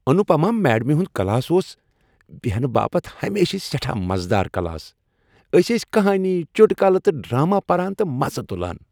انوپما میڈمہِ ہُند كلاس اوس بیہنہٕ باپت ہمیشہٕ سیٹھاہ مزٕ دار کلاس۔ أسۍ ٲسۍ كہانی، چُٹكُلہٕ تہٕ ڈرٛامہ پران تہٕ مزٕ تُلان۔